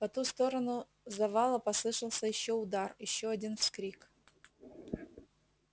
по ту сторону завала послышался ещё удар ещё один вскрик